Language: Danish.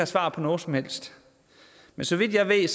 svar på noget som helst men så vidt jeg ved